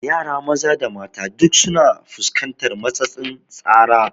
Yara maza da mata duk su na fuskantar matsatsin tsara